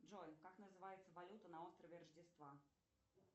джой как называется валюта на острове рождества